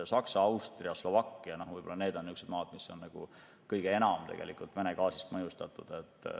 Saksa, Austria ja Slovakkia on maad, mis on kõige enam Vene gaasist mõjustatud.